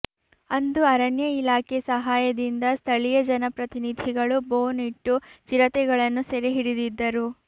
ಅಂದು ಅರಣ್ಯ ಇಲಾಖೆ ಸಹಾಯದಿಂದ ಸ್ಥಳೀಯ ಜನಪ್ರತಿನಿಧಿಗಳು ಬೋನ್ ಇಟ್ಟು ಚಿರತೆಗಳನ್ನು ಸೆರೆ ಹಿಡಿದಿದ್ದರು